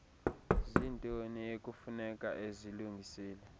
ziintoni ekufuneka ezilungisile